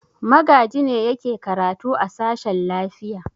Magaji ne yake karatu a sashen lafiya.